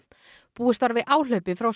búist var við áhlaupi frá